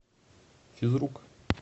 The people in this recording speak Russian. физрук